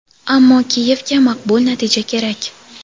ammo Kiyevga maqbul natija kerak.